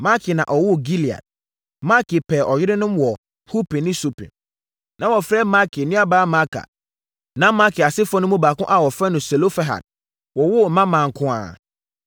Makir pɛɛ ɔyerenom maa Hupim ne Supim. Na wɔfrɛ Makir nuabaa Maaka. Na Makir asefoɔ no mu baako a wɔfrɛ no Selofehad wowoo mmammaa nko ara.